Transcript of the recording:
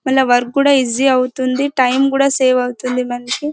మరి వర్క్ కూడా ఈజీ అవుతుంది టైం కూడా సేవ్ అవుతుంది మనకి .